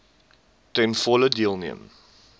ten volle deelneem